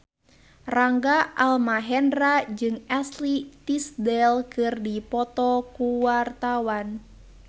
Rangga Almahendra jeung Ashley Tisdale keur dipoto ku wartawan